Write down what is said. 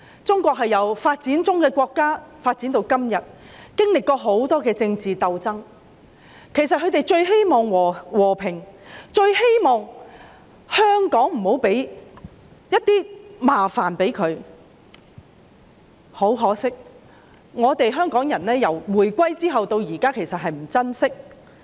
中國由發展中國家發展至今天，經歷了很多政治鬥爭，他們最希望和平，最希望香港不要給國家添麻煩，但可惜香港人自回歸至今也不珍惜。